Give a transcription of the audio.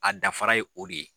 A dafara ye o de ye.